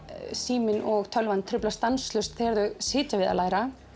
síminn og tölvan trufli stanslaust þegar þau sitja við að læra